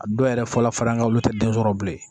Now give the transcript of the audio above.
A dɔw yɛrɛ fɔlɔ fara an ka olu tɛ den sɔrɔ bilen